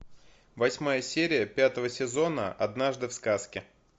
восьмая серия пятого сезона однажды в сказке